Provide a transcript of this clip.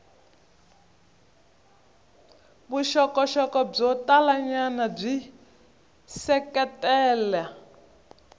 vuxokoxoko byo talanyana byi seketela